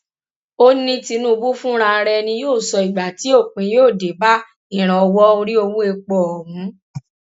ó ní tinúbù fúnra rẹ ni yóò sọ ìgbà tí òpin yóò dé bá ìrànwọ orí owó epo ọhún